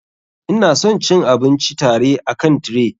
Ina son cin abinci tare akan tray.